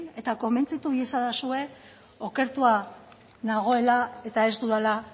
eta konbentzitu iezadazue okertua nagoela eta ez dudala